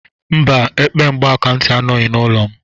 Mba, epe mgbakantị anọghị n'ụlọ m